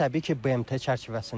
Təbii ki, BMT çərçivəsində.